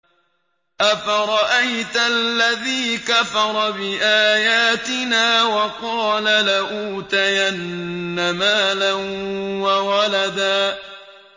أَفَرَأَيْتَ الَّذِي كَفَرَ بِآيَاتِنَا وَقَالَ لَأُوتَيَنَّ مَالًا وَوَلَدًا